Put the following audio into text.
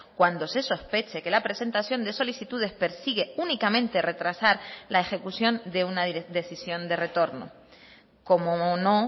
cuando se sospeche que la presentación de solicitudes persigue únicamente retrasar la ejecución de una decisión de retorno cómo no